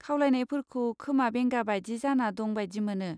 खावलायनायफोरखौ खोमा बेंगा बायदि जाना दं बायदि मोनो।